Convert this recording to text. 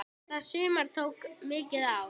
Þetta sumar tók mikið á.